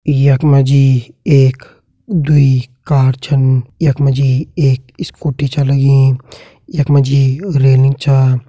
यख मा जी एक दुई कार छन यख मा जी एक स्कूटी छ लगीं यख मा जी रेलिंग छ।